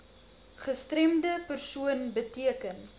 gestremde persoon beteken